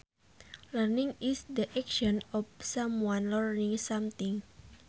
Learning is the action of someone learning something